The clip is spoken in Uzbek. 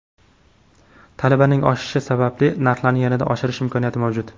Talabning oshishi sababli narxlarni yanada oshirish imkoniyati mavjud.